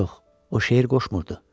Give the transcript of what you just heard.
Yox, o şeir qoşmurdu.